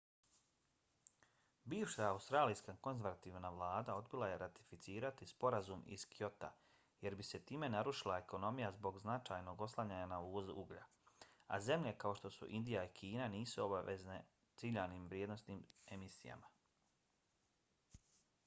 bivša australijska konzervativna vlada odbila je ratificirati sporazum iz kyota jer bi se time narušila ekonomija zbog značajnog oslanjanja na izvoz uglja a zemlje kao što su indija i kina nisu obavezane ciljanim vrijednostima emisija